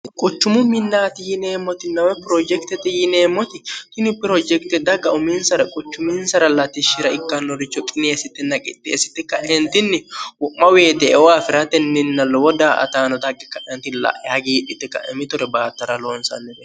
quchumu minnaati yineemmoti nawe pirojektete yineemmoti tini pirojekte dagga uminsara quchuminsara latishshira ikkannoricho qiniyeessite naqitteessite ka'eentinni wo'ma weete euwaafi'ratenninna lowo daa ataano daggi ka'anti la'e hagiidhite ka'emitore baattara loonsannine